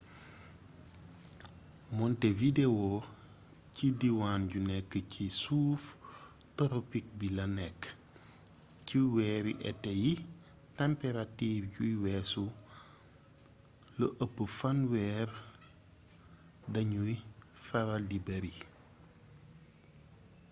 montevideo ci diiwaan yu nekk ci suuf toropik bi la nekk ci weeri été yi tamperatiir yuy weesu +30°ñc dañuy faral di bari